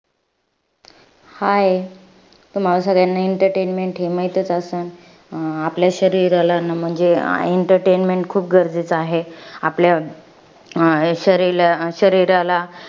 Hi तुम्हाला सगळ्यांना entertainment हे माहीतच असन. अं आपल्या शरीराला न म्हणजे, entertainment खूप गरजेचं आहे. आपल्या अं शरीला शरीराला